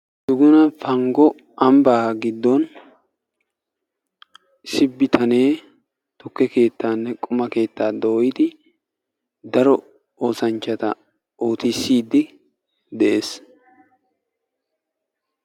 Duguna panggo ambbaa gidon issi bitanee tukke keettaanne quma keettaa dooyidi daro oossanchchata daro oosanchchata ootisiidi de'ees.